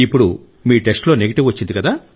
ఇప్పుడు మీ టెస్ట్ లో నెగిటివ్ వచ్చింది